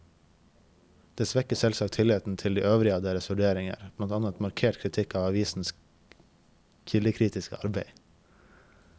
Det svekker selvsagt tilliten til de øvrige av deres vurderinger, blant annet markert kritikk av avisenes kildekritiske arbeid.